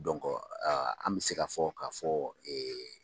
an bɛ se k'a fɔ k'a fɔ ɛɛ